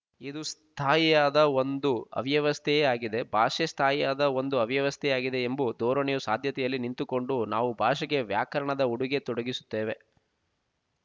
ಇದು ಸ್ಥಾಯಿಯಾದ ಒಂದು ಅವ್ಯವಸ್ಥೆಯೆ ಆಗಿದೆ ಭಾಷೆ ಸ್ಥಾಯಿಯಾದ ಒಂದು ಅವ್ಯಸ್ಥೆಯೇ ಆಗಿದೆ ಎಂಬು ಧೋರಣೆಯು ಸಾಧ್ಯತೆಯಲ್ಲಿ ನಿಂತುಕೊಂಡು ನಾವು ಭಾಷೆಗೆ ವ್ಯಾಕರಣದ ಉಡುಗೆ ತೊಡಿಗಿಸುತ್ತೇವೆ